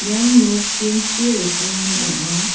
ian nok tin-chi rikgimin ong·a.